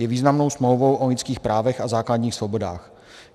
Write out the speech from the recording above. Je významnou smlouvou o lidských právech a základních svobodách.